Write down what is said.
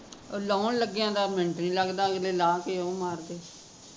ਲਾਉਣ ਲੱਗਿਆ ਦਾ ਮਿੰਟ ਨੀ ਲਗ਼ਦਾ ਅਗਲੇ ਲਾਹ ਕੇ ਓਹ ਮਾਰਦੇ